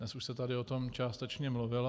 Dnes už se tady o tom částečně mluvilo.